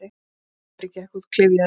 Andri gekk út klyfjaður.